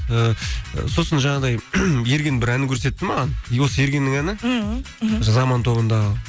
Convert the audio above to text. ы сосын жаңағыдай ерген бір әнін көрсетті маған и осы ергенннің әні мхм мхм заман тобындағы